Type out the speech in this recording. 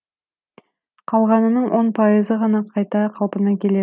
қалғанының он пайызы ғана қайта қалпына келеді